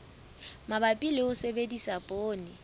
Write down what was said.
mabapi le ho sebedisa poone